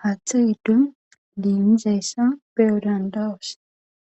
hathth gidon limizayssa beyo dandayoss